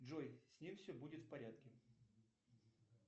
джой с ним все будет в порядке